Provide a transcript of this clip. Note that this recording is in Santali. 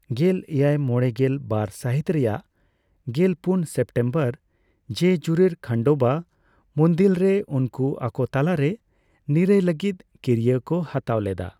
ᱜᱮᱞ ᱮᱭᱟᱭ ᱢᱚᱲᱮᱜᱮᱞ ᱵᱟᱨ ᱥᱟᱹᱦᱤᱛ ᱨᱮᱭᱟᱜ ᱜᱮᱞ ᱯᱩᱱ ᱥᱮᱯᱴᱮᱢᱵᱚᱨ ᱡᱮᱡᱩᱨᱤᱨ ᱠᱷᱟᱱᱰᱳᱵᱟ ᱢᱩᱫᱤᱞᱨᱮ ᱩᱱᱠᱩ ᱟᱠᱳ ᱛᱟᱞᱟᱨᱮ ᱱᱤᱨᱟᱹᱭ ᱞᱟᱹᱜᱤᱫ ᱠᱤᱨᱭᱟᱹ ᱠᱚ ᱦᱟᱛᱟᱭ ᱞᱮᱫᱟ ᱾